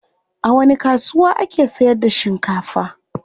A wani kasuwa ake sayar da shinkafa?